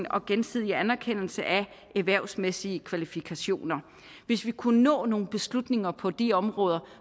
og gensidig anerkendelse af erhvervsmæssige kvalifikationer hvis vi kunne nå nogle beslutninger på de områder